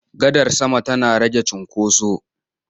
Gadar sama tana rage cinkoso.